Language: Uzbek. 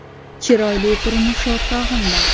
Chiroyli turmush o‘rtog‘im bor.